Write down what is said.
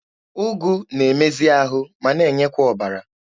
Ụgụ na-emezi ahụ ma n'enyekwa ọbara.